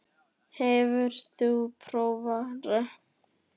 Kjartan Hreinn Njálsson: Hefur þú prófað rafrettu?